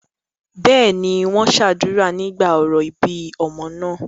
bẹ́ẹ̀ni, wọ́n sàdúrà nígbà orò ìbí ọmọ náà